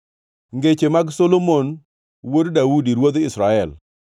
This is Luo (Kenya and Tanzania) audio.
Ngeche mag Solomon wuod Daudi, ruodh Israel: